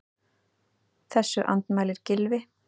Þessu andmælir Gylfi.